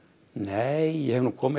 nei ég hef nú komið